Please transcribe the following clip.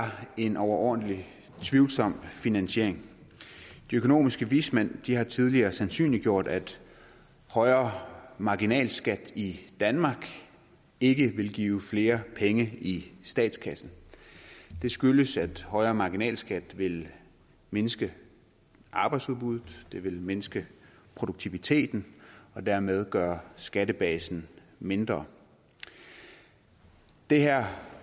en overordentlig tvivlsom finansiering de økonomiske vismænd har tidligere sandsynliggjort at højere marginalskat i danmark ikke vil give flere penge i statskassen det skyldes at højere marginalskat vil mindske arbejdsudbuddet det vil mindske produktiviteten og dermed gøre skattebasen mindre det her